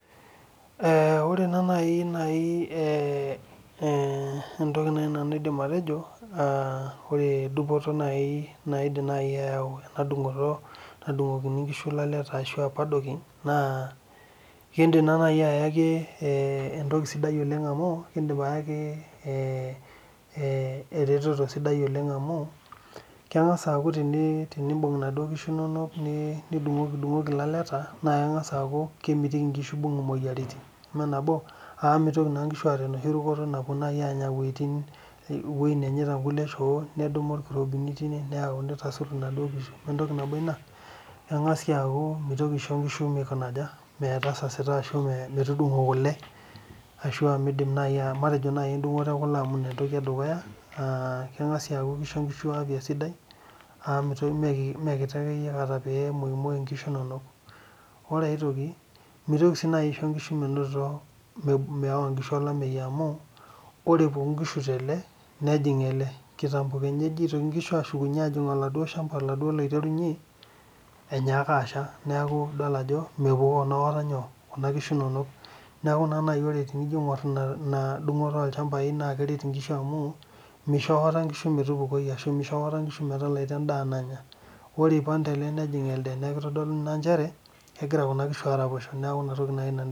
Ore naa naaji entoki nanu naidim atejo ore naaji dupoto naidim ayau ena dungoto nadung'okini enkishu lalaleta aa paddocking naa ekidim ayaki eretoto sidai oleng amu keng'as akuu tenibung enaduo kishu enonok nidungudungoki elelaleta naa keng'as akuu kemitiki enkishu ebung moyiaritin amu mitoki naa nkishu ataa enoshi rukoto napuo Anya ewueji nenyaita enkulie shoo nedumu irkirobini nitasur enaduo kishu ementoki nabo ena keng'as sii aku miosho nkishu metasasita ashu metutungo kule keng'as sii aishoo nkishu afya sidai amu mee kiti kata pee kemuoi enkishu enono ore sii aitoki naa mitoki sii naaji aishoo enkishu mewa olamei amu ore epuku enkishu tele nejing ele kitampo Keenyaa eshukunyie enkishu ajing oladuo shamba oiterunyie enyakaa ashaa neeku edol Ajo mepukoo aikata Kuna kishu enono neeku tening'or ena dungoto olchambai naa keret enkishu amu misho aikata enkishu metupukoi ashu metalaita endaa nanya ore eipag tele nejing ele neeku kitodolu Ajo kegira Kuna kishu araposho